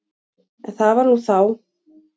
En það var nú þá.